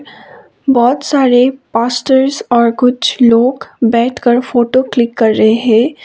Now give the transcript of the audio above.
बहोत सारे पास्टर्स और कुछ लोग बैठकर फोटो क्लिक कर रहे हैं।